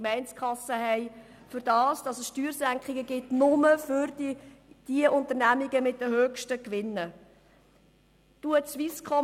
Dies alles ausschliesslich dafür, dass es Steuersenkungen nur für die Unternehmen mit den höchsten Gewinnen gibt.